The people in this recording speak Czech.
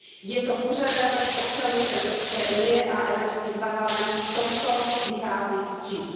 Je to požadavek občanů Evropské unie a Evropský parlament v tomto vychází vstříc.